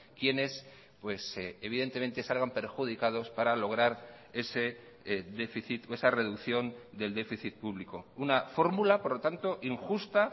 quienes evidentemente salgan perjudicados para lograr ese déficit o esa reducción del déficit público una fórmula por lo tanto injusta